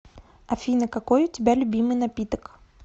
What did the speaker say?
афина какой у тебя любимый напиток